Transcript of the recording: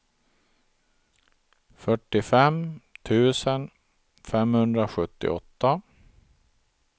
fyrtiofem tusen femhundrasjuttioåtta